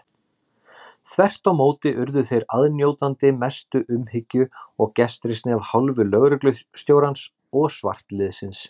Þvert á móti urðu þeir aðnjótandi mestu umhyggju og gestrisni af hálfu lögreglustjórans og svartliðsins.